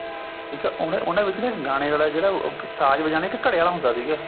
ਠੀਕ ਆ ਉਹਨਾ ਉਹਨਾ ਵਿੱਚ ਇੱਕ ਗਾਣੇ ਵਾਲਾ ਜਿਹੜਾ ਉਹ ਸਾਜ਼ ਵਜਾਣੇ ਘੜਿਆ ਆਲਾ ਹੁੰਦਾ ਸੀਗਾ